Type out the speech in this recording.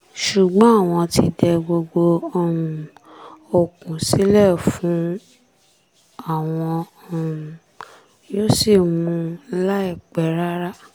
ṣùgbọ́n àwọn ti dẹ gbogbo um okun sílẹ̀ fún un àwọn um yóò sì mú un láìpẹ́ rárá